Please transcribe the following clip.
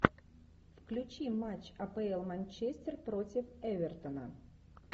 включи матч апл манчестер против эвертона